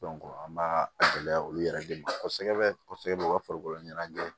an b'a gɛlɛya olu yɛrɛ de ma kosɛbɛ kosɛbɛ u ka farikolo ɲɛnajɛ